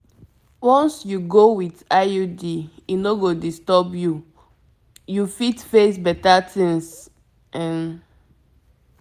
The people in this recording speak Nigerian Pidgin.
once you go with iud e no go disturb you you fit face better things um